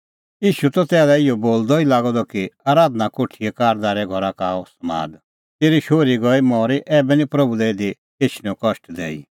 ईशू त तेसा लै इहअ बोलदअ ई लागअ द कि आराधना कोठीए कारदारे घरा का आअ समाद तेरी शोहरी गई मरी ऐबै निं प्रभू लै इधी एछणेंओ कष्ट दैई